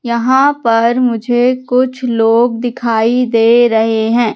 यहां पर मुझे कुछ लोग दिखाई दे रहे हैं।